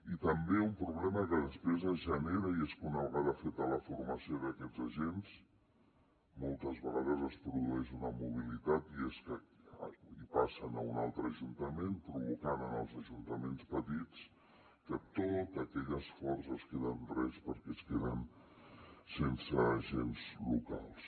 i també un problema que després es genera és que una vegada feta la formació d’aquests agents moltes vegades es produeix una mobilitat i passen a un altre ajuntament provocant en els ajuntaments petits que tot aquell esforç es queda en res perquè es queden sense agents locals